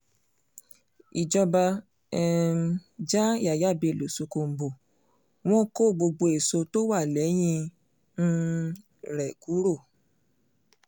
ìjọba um já yàyà bello ṣókóǹbó wọn kó gbogbo èso tó wà lẹ́yìn um rẹ̀ kúrò